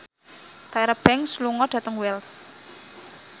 Tyra Banks lunga dhateng Wells